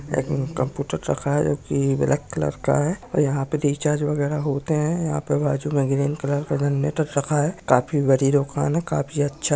एक में कंप्यूटर रखा है जो कि ब्लैक कलर का है और यहां पे रिचार्ज वगैरा होते है यहां पर बाजु में ग्रीन कलर का जेनेरेटर रखा है काफी बड़ी दूकान है काफी अच्छा --